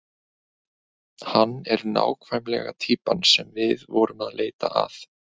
Hann er nákvæmlega týpan sem við vorum að leita að.